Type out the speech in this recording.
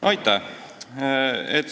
Aitäh!